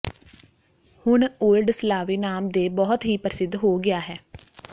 ਹੁਣ ਓਲਡ ਸਲਾਵੀ ਨਾਮ ਦੇ ਬਹੁਤ ਹੀ ਪ੍ਰਸਿੱਧ ਹੋ ਗਿਆ ਹੈ